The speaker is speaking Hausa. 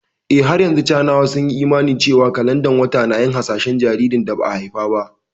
Eh, har yanzu Sinawa sun yi imani cewa kalandar wata na yin hasashen jinsin jaririn da ba a haifa ba